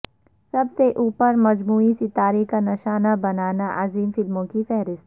سب سے اوپر مجموعی ستارہ کا نشانہ بنانا عظیم فلموں کی فہرست